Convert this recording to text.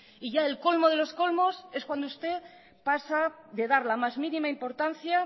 y ya el colmo de los colmos es cuando usted pasa de dar la más mínima importancia